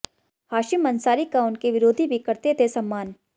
हाशिम अंसारी का उनके विरोधी भी करते थे सम्मान